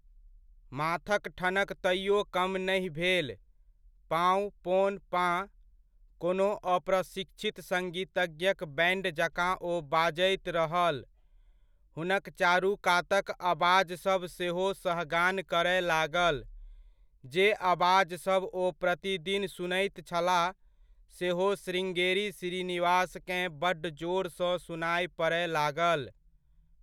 माथक ठनक तैओ कम नहि भेल। पाउँ! पोंन! पा! कोनो अप्रशिक्षित संगीतज्ञक बैण्ड जकाँ ओ बाजैत रहल। हुनक चारुकातक अबाजसभ सेहो सहगान करय लागल। जे अबाजसभ ओ प्रतिदिन सुनैत छलाह सेहो श्रृङ्गेरी श्रीनिवासकेँ बड्ड जोरसँ सुनाय पड़य लागल।